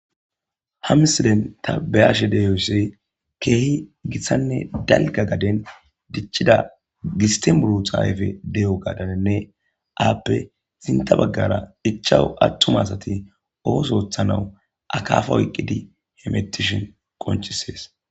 hamsiden ta bayashe deyosse keehi gissanne dalga gaden dichida gistimuru xaayfe de7o gadanne aappe zinta baggara ichawu attumasati ooso oothana akaafa oyqqidi hemetishin qonchisees